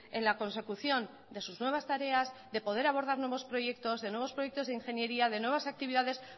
en la consecución de sus nuevas tareas de poder abordar nuevos proyectos de nuevos proyectos de ingeniería de nuevas actividades